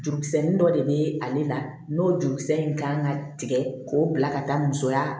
Jurukisɛnin dɔ de bɛ ale la n'o jurukisɛ in kan ka tigɛ k'o bila ka taa musoya